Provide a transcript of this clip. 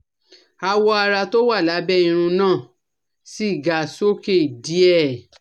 Awọ ara tó wà lábẹ́ irún náà sì ga sókè díè